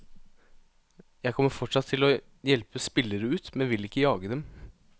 Jeg kommer fortsatt til å hjelpe spillere ut, men vil ikke jage dem.